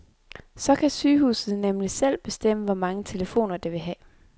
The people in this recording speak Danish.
Så kan sygehuset nemlig selv bestemme, hvor mange telefoner, det vil have.